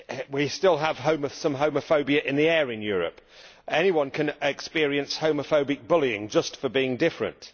We still have some homophobia in the air in Europe. Anyone can experience homophobic bullying, just for being different.